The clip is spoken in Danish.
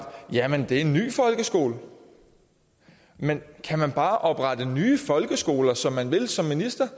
ja men det er en ny folkeskole men kan man bare oprette nye folkeskoler som man vil som minister